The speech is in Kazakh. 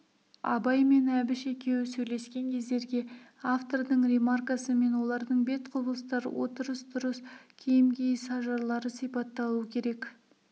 абай мен әбіш екеуі сөйлескен кездерге автордың ремаркасы мен олардың бет-құбылыстар отырыс-тұрыс киім киіс ажарлары сипатталу керек